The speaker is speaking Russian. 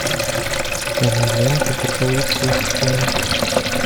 покажи ленту поцелуй сквозь стену